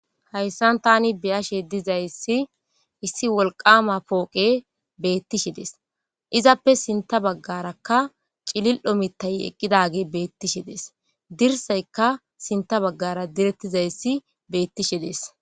Hayssan thani be7ashee dizayssi issi wolqqaama pooqee beeththishe des; izappe sinththa baggaarakka cilil7o miththay eqqidaagee beeththishe de7ees; dirssaykka sinththa baggara direththizayssi beeththishe de7ees.